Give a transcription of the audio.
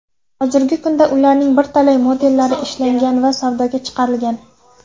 Hozirgi kunda ularning birtalay modellari ishlangan va savdoga chiqarilgan.